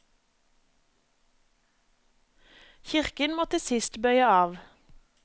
Kirken må til sist bøye av.